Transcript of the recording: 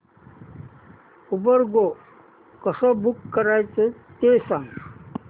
Uber go कसं book करायचं ते सांग